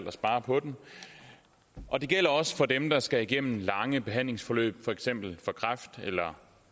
at spare på dem og det gælder også for dem der skal igennem lange behandlingsforløb for eksempel for kræft eller